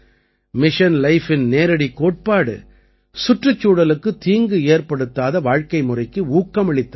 mission life இன் நேரடிக் கோட்பாடு சுற்றுச்சூழலுக்குத் தீங்கு ஏற்படுத்தாத வாழ்க்கைமுறைக்கு ஊக்கமளித்தல் தான்